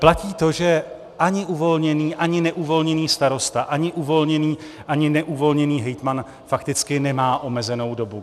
Platí to, že ani uvolněný, ani neuvolněný starosta, ani uvolněný, ani neuvolněný hejtman fakticky nemá omezenou dobu.